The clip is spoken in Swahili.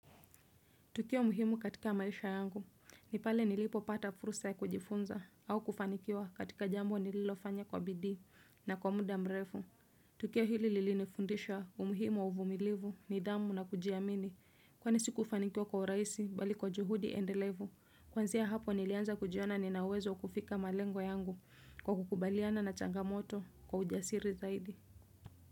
Tukio muhimu katika maisha yangu, ni pale nilipo pata fursa ya kujifunza au kufanikiwa katika jambo nililofanya kwa bidii na kwa muda mrefu. Tukio hili lilinifundisha umuhimu uvumilivu nidhamu na kujiamini, kwani sikufanikiwa kwa urahisi bali kwa juhudi endelevu. Kwanzia hapo nilianza kujiona nina uwezo kufika malengo yangu kwa kukubaliana na changamoto kwa ujasiri zaidi.